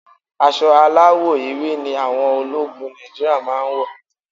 Aṣọ aláwọ̀ ewé ni àwọn ológun Nàìjíríà máa ń wọ̀.